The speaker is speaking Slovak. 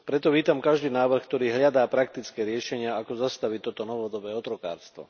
Preto vítam každý návrh, ktorý hľadá praktické riešenia, ako zastaviť toto novodobé otrokárstvo.